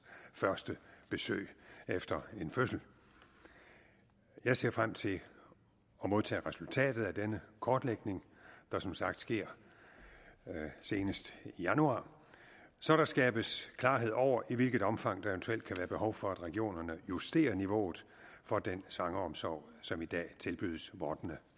første besøg efter en fødsel jeg ser frem til at modtage resultatet af denne kortlægning der som sagt sker senest i januar så der skabes klarhed over i hvilket omfang der eventuelt kan være behov for at regionerne justerer niveauet for den svangreomsorg som i dag tilbydes vordende